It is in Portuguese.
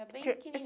Era bem